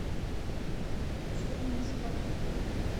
чернушка